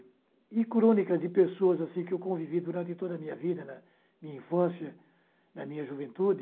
E crônicas de pessoas assim que convivi durante toda a minha vida, né, na minha infância, na minha juventude.